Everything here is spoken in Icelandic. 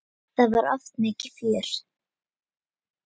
Það var oft mikið fjör.